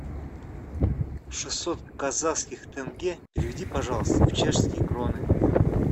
шестьсот казахских тенге переведи пожалуйста в чешские кроны